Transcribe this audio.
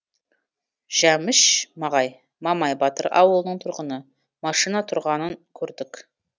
жәміш мағай мамай батыр ауылының тұрғыны машина тұрғанын көрдік